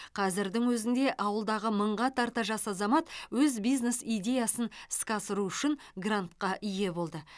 қазірдің өзінде ауылдағы мыңға тарта жас азамат өз бизнес идеясын іске асыру үшін грантқа ие болды